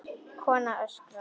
Kona öskrar.